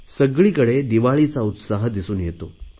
सगळीकडेच दिवाळीचा उत्साह दिसून येतो